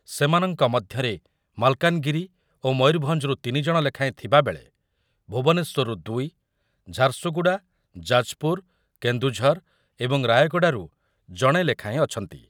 ସେମାନଙ୍କ ମଧ୍ୟରେ ମାଲକାନଗିରି ଓ ମୟୁରଭଞ୍ଜରୁ ତିନି ଜଣ ଲେଖାଏଁ ଥିବାବେଳେ ଭୁବନେଶ୍ୱରରୁ ଦୁଇ, ଝାରସୁଗୁଡ଼ା, ଯାଜପୁର, କେଂଦୁଝର ଏବଂ ରାୟଗଡାରୁ ଜଣେ ଲେଖାଏଁ ଅଛନ୍ତି